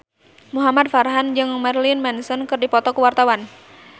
Muhamad Farhan jeung Marilyn Manson keur dipoto ku wartawan